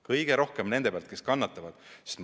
Kõige rohkem nende pealt, kes kannatavad!